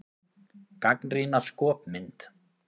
Gagnrýna skopmynd